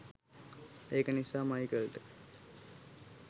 ඒක නිසා මයිකල්ට